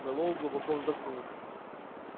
мэллоу глубоко вздохнул